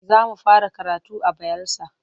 Za mu fara karatu a Bayelsa.